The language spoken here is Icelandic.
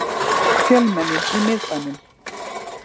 Fjölmenni í miðbænum